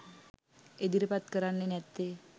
ඉදිරිපත් කරන්නේ නැත්තෙ?